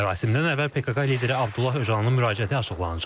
Mərasimdən əvvəl PKK lideri Abdullah Öcalanın müraciəti açıqlanacaq.